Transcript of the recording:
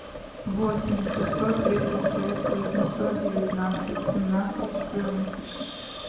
восемь шестьсот тридцать шесть восемьсот девятнадцать семнадцать четырнадцать